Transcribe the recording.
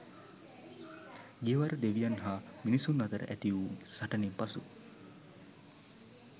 ගියවර දෙවියන් හා මිනිසුන් අතර ඇති වූ සටනෙන් පසු